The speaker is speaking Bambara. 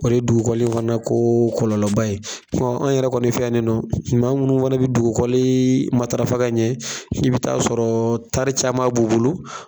O dugukɔli fana ko kɔlɔlɔ ba ye, an yɛrɛ kɔni fɛ yen ne nɔ, maa minnu fana bɛ dugukɔli matarafa ka ɲɛ f'i bɛ taa sɔrɔ tari caman b'u bolo